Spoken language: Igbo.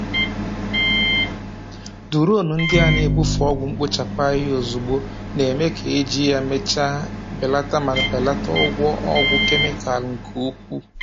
Duronu ndị a na-ebufe ọgwụ mkpochapụ ahịhịa ozugbo, na-eme ka eji ya emechaa belata ma belata ụgwọ ọgwụ kemịkalụ nke ukwuu.